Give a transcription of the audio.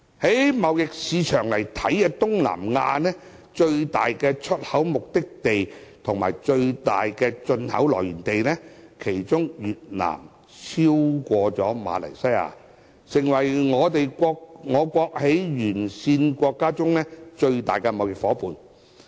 從貿易市場來看，以我國在東南亞最大出口目的地和最大進口來源地來說，越南已超過馬來西亞，成為我國沿線國家最大的貿易夥伴。